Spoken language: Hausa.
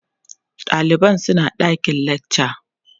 ɗaliban suna ɗakin lakca